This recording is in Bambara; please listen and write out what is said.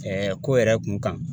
ko yɛrɛ kun kan.